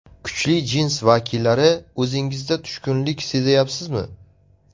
Kuchli jins vakillari, o‘zingizda tushkunlik sezayapsizmi?